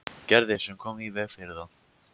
Gerði sem kom í veg fyrir það.